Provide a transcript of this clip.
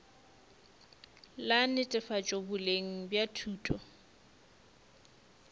la netefatšo boleng bja thuto